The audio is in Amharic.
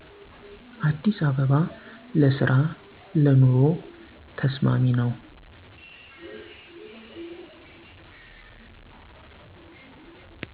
አዲስ አበባ ለስራ ለኑሮ ተስማሚ ነው